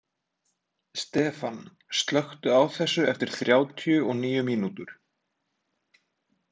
Stefan, slökktu á þessu eftir þrjátíu og níu mínútur.